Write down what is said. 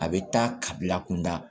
A bɛ taa ka bila kunda